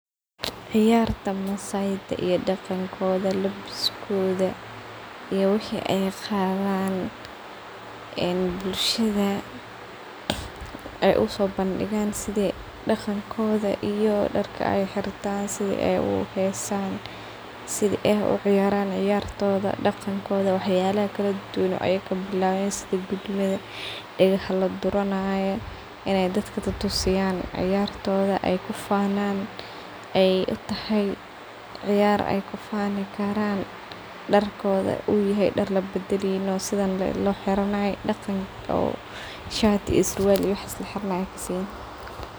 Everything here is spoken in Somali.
Ciyarta maasai iyo dagoonkodha labiskoodha iyo wixi ay qadhaan een bulshada aay usobandigan sidha dagankodha iyo daarka ay xirtaan sidha ay u xeesan sidha ay u ciyaraan ciyartodha dagankodha wax yalaha kaladuduwan oo ayaka bilaween sidha; gudmadha, dagaha laduranayo inay dadka tatusiyaan ciyartodha aay kufanan aay utahay ciyaar aay kufaani karan daarkodha u yaahay daar labadaleynin oo sidhan lee loo xiranayo dagaan oo shirt iyo surwaal waxaas laa xiranayo aan kaseynin.